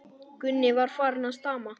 Gunni var farinn að stama.